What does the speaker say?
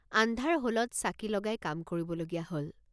আন্ধাৰ হলত চাকি লগাই কাম কৰিবলগীয়া হল।